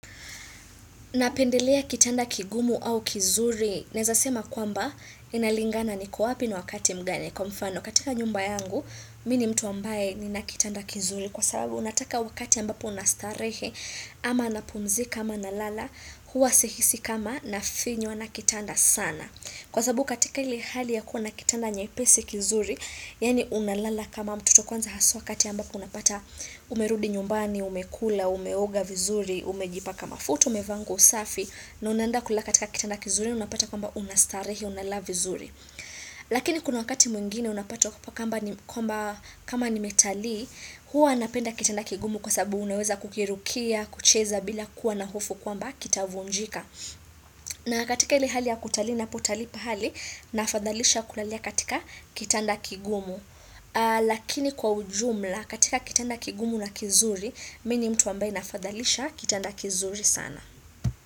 Napendelea kitanda kigumu au kizuri. Ninaweza sema kwamba inalingana niko wapi ni wakati mgani. Kwa mfano katika nyumba yangu Mimi ni mtu ambaye nina kitanda kizuri kwa sababu unataka wakati ambapo unastarehe ama napumzika ama nalala huwa sihisi kama nafinywa na kitanda sana. Kwa sababu katika ile hali ya kuwa na kitanda nyepesi kizuri, yaani unalala kama mtoto. Kwanza haswa wakati ambapo unapata umerudi nyumbani, umekula, umeoga vizuri, umejipaka mafuta, umevaa nguo safi, na unaenda kulala katika kitanda kizuri, unapata kwamba unastarehe, unalala vizuri. Lakini kuna wakati mwingine unapata kwamba kama nimetalii, huwa napenda kitanda kigumu kwa sababu unaweza kukirukia, kucheza bila kuwa na hofu kwamba kitavunjika. Na katika ile hali ya kutali unapotalii pahali nafadhalisha kulalia katika kitanda kigumu. Lakini kwa ujumla katika kitanda kigumu na kizuri, mimi ni mtu ambaye nafadhalisha kitanda kizuri sana.